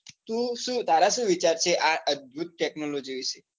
તું શું તારા શું વિચાર છે આ અદભુત technology વિષે?